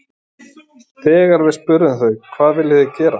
Þegar við spurðum þau hvað viljið þið gera?